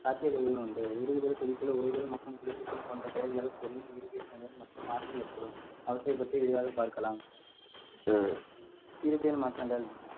சாத்தியக்கூறுகள் உண்டு உருகுதல், குளிர்தல், உறைதல் மற்றும் குளிர்ப்பித்தல் போன்ற செயல்களால் கொள்ளின் இயற்பியல் நிலையில் மற்றும் மாற்றம் ஏற்படும் அவற்றை பற்றி விரிவாக பார்க்கலாம் இயற்பியல் மாற்றங்கள்